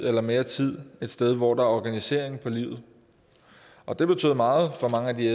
er mere tid et sted hvor der er organisering for livet og det betød meget for mange af de